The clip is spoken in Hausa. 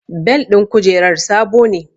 Bel ɗin kujerar sabo ne